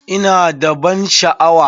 Ina da ban sha'awa?